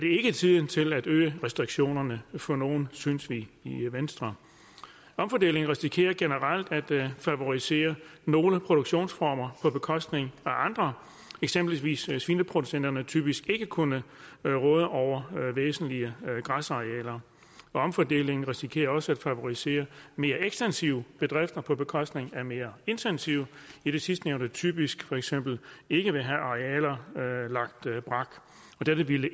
ikke tiden til at øge restriktionerne for nogle synes vi i venstre omfordelingen risikerer generelt at favorisere nogle produktionsformer på bekostning af andre eksempelvis vil svineproducenterne typisk ikke kunne råde over væsentlige græsarealer omfordelingen risikerer også at favorisere mere ekstensive bedrifter på bekostning af mere intensive idet sidstnævnte typisk for eksempel ikke vil have arealer lagt brak og derved